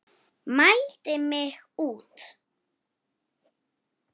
Mældi mig út.